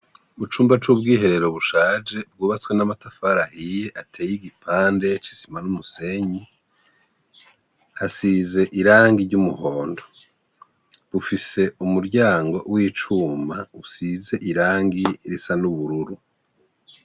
Mucumba c'ubwiherero bushaje bwubatswe n'amatafari ahiye ateye igibande c'isima numusenyi hasize iragi ry'umuhondo, ufise umuryango w'icuma usize iragi risa n'ubururu.